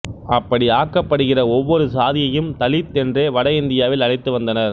அப்படி ஆக்கபடுகிற ஒவ்வொரு சாதியையும் தலித் என்றே வட இந்தியாவில் அழைத்து வந்தனர்